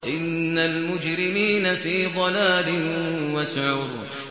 إِنَّ الْمُجْرِمِينَ فِي ضَلَالٍ وَسُعُرٍ